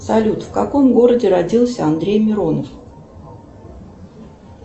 салют в каком городе родился андрей миронов